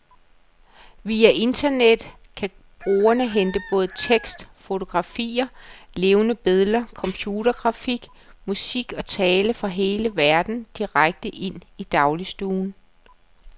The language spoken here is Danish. Via internettet kan brugerne hente både tekst, fotografier, levende billeder, computergrafik, musik og tale fra hele verden, direkte ind i dagligstuen.